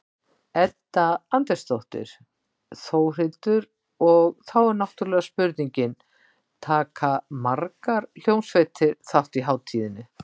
Edda Andrésdóttir: Þórhildur, og þá er náttúrulega spurningin, taka margar hljómsveitir þátt í hátíðinni?